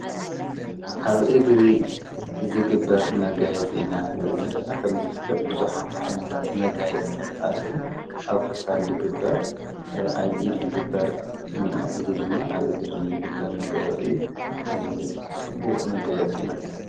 ኣብ እግሪ ዝግበር መጋየጽ ኢና ንር ዘለና ከም ዝፍልጥ ብዙኃተ ኣይንታት መጋይ ዝተት ኣልዉ ኣብ ኸሳድ ልግበር ኣብዪ ልግበር ንዮ ዝድማ ኣብ እግሪ ልግበር መጋየጽ እዩ ጽቡቕ መጋየጽ እዩ።